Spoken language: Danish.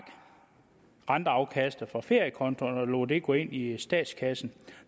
renteafkastet fra feriekonto og lod det gå ind i statskassen